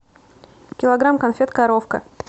килограмм конфет коровка